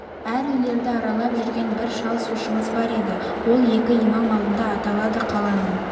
әр үйлерді аралап жүрген бір шал сушымыз бар еді ол екі имам алдында аталады қаланың